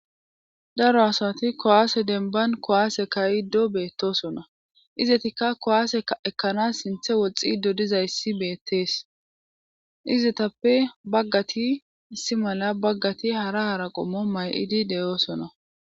daro asati kowaase denban kowaase kayido beettosona izetikka kowaase ekkana sinthe woxxido dizayssi beettees izetappe baggati isi mala baggati hara hara qommo may7idi de'oosona